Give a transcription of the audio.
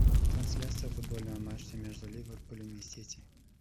трансляция футбольного матча между ливерпулем и сити